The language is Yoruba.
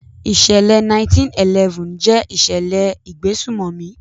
ìsẹ̀lẹ̀ 9/11 jẹ́ ìṣẹ̀lẹ̀ ìgbésùmọ̀mì.